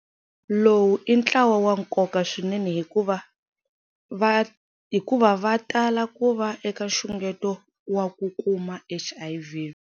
Lowu i ntlawa wa nkoka swinene hikuva va tala ku va eka nxungeto wa ku kuma HIV.